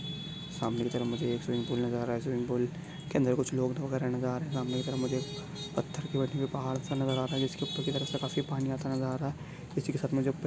सामने की तरफ मुझे एक स्विमिंग पूल नजर आ रहा है स्विमिंग पूल के अंदर कुछ लोग नजर आ रहे है सामने की तरफ मुझे एक पत्थर की पहाड़ सा नजर आ रहा है जिस के उपर की तरफ काफी पानी आता नजर आ रहा है इसी के साथ --